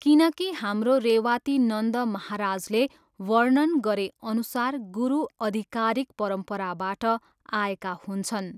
किनकि हाम्रो रेवातिनन्द महाराजले वर्णन गरेअनुसार गुरु अधिकारिक परम्पराबाट आएका हुन्छन्।